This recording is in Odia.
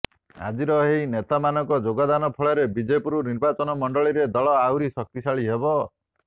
ଆଜିର ଏହି ନେତାମାନଙ୍କ ଯୋଗଦାନ ଫଳରେ ବିଜେପୁର ନିର୍ବାଚନ ମଣ୍ଡଳୀରେ ଦଳ ଆହୁରି ଶକ୍ତିଶାଳୀ ହେବ